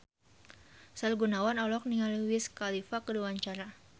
Sahrul Gunawan olohok ningali Wiz Khalifa keur diwawancara